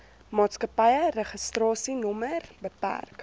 maatskappy registrasienommer bk